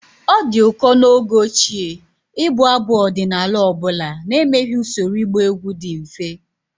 It was rare in the time of old to sing any folk Song without making a simple dancing step.